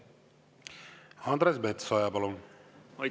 Andres Metsoja, palun!